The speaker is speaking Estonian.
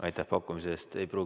Aitäh pakkumise eest!